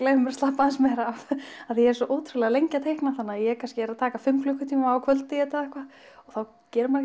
leyfa mér að slappa aðeins af ég er svo ótrúlega lengi að teikna þannig að ég kannski er að taka fimm klukkutíma á kvöldi í þetta og þá gerir maður